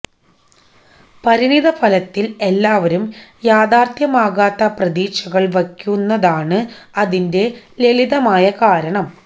പരിണിതഫലത്തിൽ എല്ലാവരും യാഥാർത്ഥ്യമാവാത്ത പ്രതീക്ഷകൾ വയ്ക്കുന്നതാണ് അതിന്റെ ലളിതമായ കാരണം